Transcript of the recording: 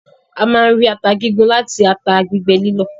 A máa ń rí ata gígún láti ata gbígbẹ lílọ̀.